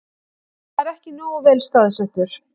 Hann var ekki nógu vel staðsettur